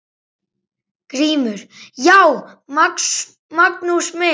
GRÍMUR: Já, Magnús minn!